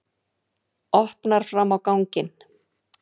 Opnar fram á ganginn.